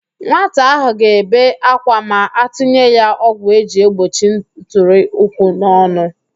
Nwata ahụ ga-ebe akwa ma atụnye ya ọgwụ eji egbochi ntụrịụkwụ n'ọnụ